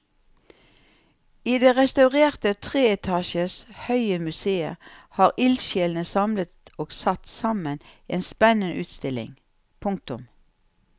I det restaurerte tre etasjer høye museet har ildsjelene samlet og satt sammen en spennende utstilling. punktum